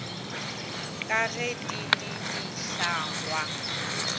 ka ge di le dihlangwa